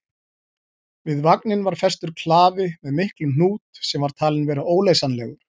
Við vagninn var festur klafi með miklum hnút sem var talinn vera óleysanlegur.